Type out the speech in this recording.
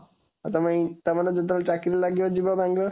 ଆଉ ତମ ଚାକିରୀ ଯେତେବେଳେ ଲାଗିଯିବ ବାଙ୍ଗାଲୋରରେ